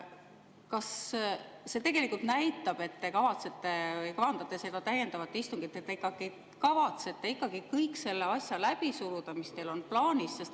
Kas see tegelikult näitab, et te kavandate seda täiendavat istungit, et te ikkagi kavatsete kõik need asjad läbi suruda, mis teil on plaanis?